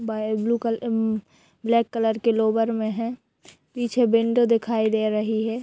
by blue colour um black colour के lower में है पीछे विंडो दिखाई दे रही है